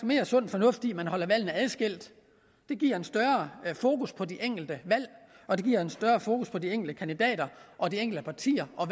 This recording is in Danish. mere sund fornuft i at man holder valgene adskilt det giver en større fokus på de enkelte valg og det giver en større fokus på de enkelte kandidater og de enkelte partier og